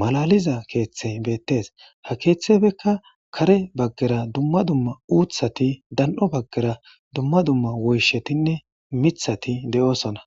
maallaliza keeththe beetes. Ha keeththeraka kare baggara dumma dumma uththati daani'o bagara dumma dumma wooyishshatine miiththati deeosona.